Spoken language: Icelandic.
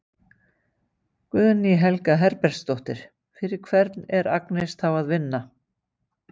Guðný Helga Herbertsdóttir: Fyrir hvern er Agnes þá að vinna?